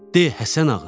De, Həsənağa.